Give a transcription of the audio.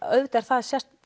auðvitað er það er